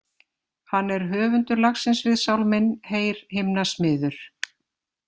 Hann er höfundur lagsins við sálminn Heyr himna smiður.